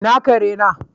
Ina kare na?